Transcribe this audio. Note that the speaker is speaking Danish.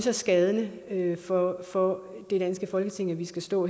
er skadende for for det danske folketing at vi skal stå